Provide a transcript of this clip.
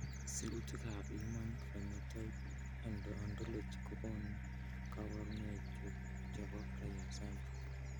Sirutikab Human Phenotype Ontology kokonu koborunoikchu chebo Frias syndrome.